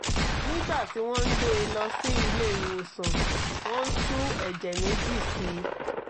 nígbà tí wọ́n ń gbé e lọ sí ilé ìwòsàn wọ́n tú ẹ̀jẹ̀ méjì sí i